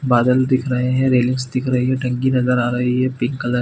बादल दिख रहे है रेलिंग्स दिख रही है टंकी नज़र आ रही है पिंक कलर --